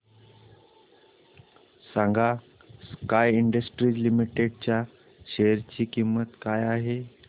सांगा sky industries limited share शेअर ची किंमत काय आहे